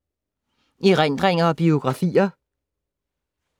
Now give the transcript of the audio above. Erindringer og biografier